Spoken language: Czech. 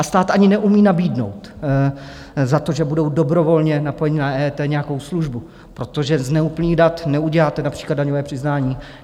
A stát ani neumí nabídnout za to, že budou dobrovolně napojeni na EET, nějakou službu, protože z neúplných dat neuděláte například daňové přiznání.